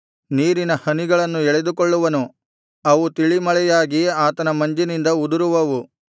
ನೀರಿನ ಹನಿಗಳನ್ನು ಎಳೆದುಕೊಳ್ಳುವನು ಅವು ತಿಳಿಮಳೆಯಾಗಿ ಆತನ ಮಂಜಿನಿಂದ ಉದುರುವವು